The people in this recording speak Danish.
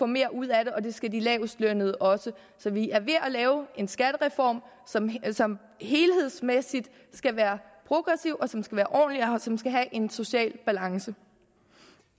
mere ud af det og det skal de lavestlønnede også så vi er ved at lave en skattereform som som helhedsmæssigt skal være progressiv som skal være ordentlig og som skal have en social balance